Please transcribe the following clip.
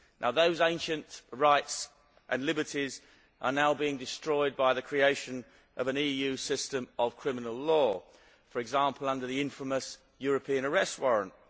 Those ancient rights and liberties are now being destroyed by the creation of an EU system of criminal law, for example under the infamous European Arrest Warrant.